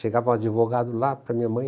Chegava um advogado lá para a minha mãe,